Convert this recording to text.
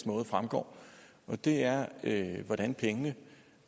måde fremgår og det er hvordan pengene